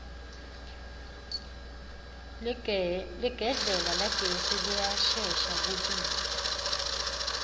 ligedlela lagesi liyashesha kubila